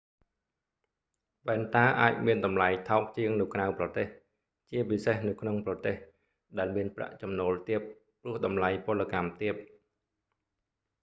វ៉ែនតាអាចមានតម្លៃថោកជាងនៅក្រៅប្រទេស ជាពិសេសនៅក្នុងប្រទេស ដែលមានប្រាក់ចំណូលទាប ព្រោះតម្លៃពលកម្មទាប